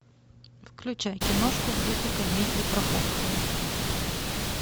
включай киношку в духе комедии про похороны